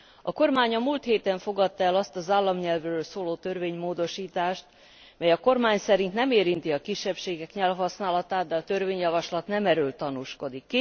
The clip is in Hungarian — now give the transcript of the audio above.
A kormány a múlt héten fogadta el azt az államnyelvről szóló törvénymódosítást, mely a kormány szerint nem érinti a kisebbségek nyelvhasználatát, de a törvényjavaslat nem erről tanúskodik.